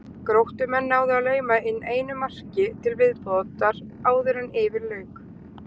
Gróttumenn náðu að lauma inn einu marki til viðbótar áður en yfir lauk.